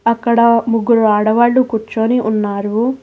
అక్కడ ముగ్గురు ఆడవాళ్లు కూర్చుని ఉన్నారు.